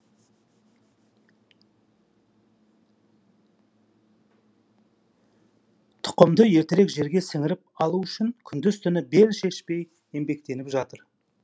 тұқымды ертерек жерге сіңіріп алу үшін күндіз түні бел шешпей еңбектеніп жатыр